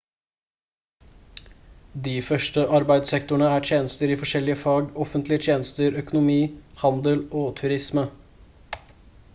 de største arbeidssektorene er tjenester i forskjellige fag offentlige tjenester økonomi handel og turisme